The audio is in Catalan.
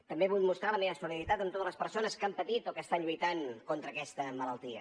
també vull mostrar la meva solidaritat amb totes les persones que han patit o que estan lluitant contra aquesta malaltia